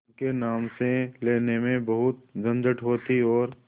उनके नाम से लेने में बहुत झंझट होती और